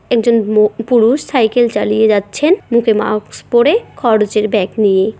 একজন মহ পুরুষ সাইকেল চালিয়ে যাচ্ছেন মুখে মাক্স পড়ে খরচের ব্যাগ নিয়ে।